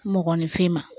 Mɔgɔninfin ma